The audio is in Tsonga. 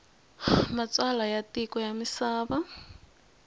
matsalwa ya matiko ya misava